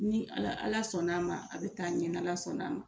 Ni Ala Ala sɔnn'a ma a bɛ taa ɲɛ ni Ala sɔnn'a ma.